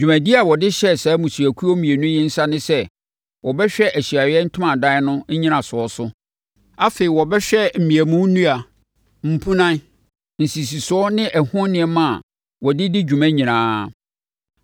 Dwumadie a wɔde hyɛɛ saa mmusuakuo mmienu yi nsa ne sɛ, wɔbɛhwɛ Ahyiaeɛ Ntomadan no nnyinasoɔ so. Afei, wɔbɛhwɛ mmeamu nnua, mpunan, nsisisoɔ ne ɛho nneɛma a wɔde di dwuma nyinaa.